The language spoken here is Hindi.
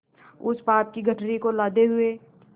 उस पाप की गठरी को लादे हुए